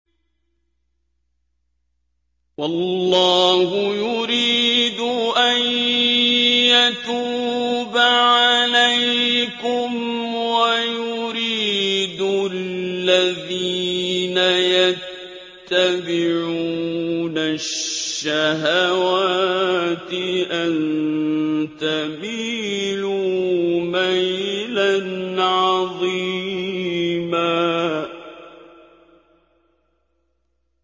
وَاللَّهُ يُرِيدُ أَن يَتُوبَ عَلَيْكُمْ وَيُرِيدُ الَّذِينَ يَتَّبِعُونَ الشَّهَوَاتِ أَن تَمِيلُوا مَيْلًا عَظِيمًا